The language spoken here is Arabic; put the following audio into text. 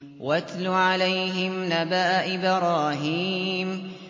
وَاتْلُ عَلَيْهِمْ نَبَأَ إِبْرَاهِيمَ